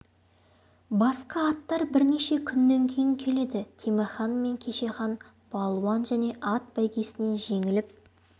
басқа аттар бірнеше күннен кейін келеді темір хан мен кеше хан балуан және ат бәйгесінен жеңіліп